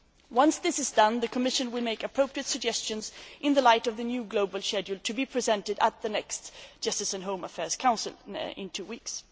Once this is done, the Commission will make appropriate suggestions in the light of the new global schedule to be presented at the next Justice and Home Affairs Council in two weeks.